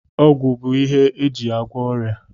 Ọgwụ bụ ihe eji agwọ ọrịa